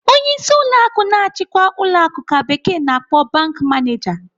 Onyeisi ụlọ akụ na-achikwa ụlọ akụ ka bekee na-akpọ 'bank manager.'